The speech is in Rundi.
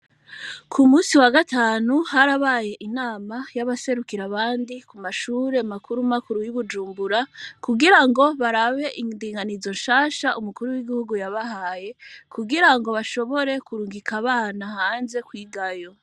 Ku musi wa gatanu hari abaye inama y'abaserukira abandi ku mashure makuru makuru y'ubujumbura kugira ngo barabe indinganizo nshasha umukuru w'igihugu yabahaye kugira ngo bashobore kurungika abana hanze kwigayo.